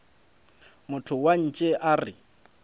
motho wa ntshe a re